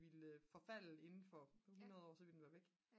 ville forfalde inden for 100 år så ville det være væk